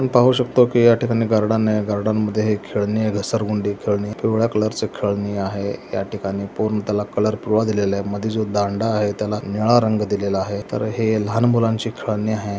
पाहू शकता की या ठिकाणी गार्डन आहे गार्डन मध्ये खेळणी आहे घसरगुंडी खेळणी पिवळा कलर ची खेळणे आहे या ठिकाणी पूर्ण त्याला कलर पिवळा दिलेला आहे मध्ये जो दांडा आहे त्याला निळा रंग दिलेला आहे तर हे लहान मुलांची खेळणी आहे.